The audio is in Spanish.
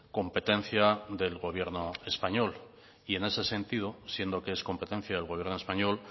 competencia del gobierno español y en ese sentido siendo que es competencia del gobierno español